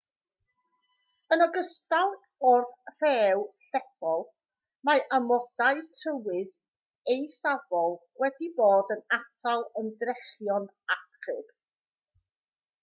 yn ogystal â'r rhew llethol mae amodau tywydd eithafol wedi bod yn atal ymdrechion achub